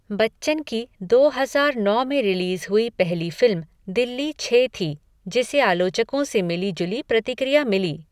बच्चन की दो हज़ार नौ में रिलीज़ हुई पहली फ़िल्म दिल्ली छः थी जिसे आलोचकों से मिली जुली प्रतिक्रिया मिली।